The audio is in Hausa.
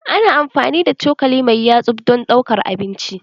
Ana amfani da cokali mai yatsuvdon ɗaukar abinci.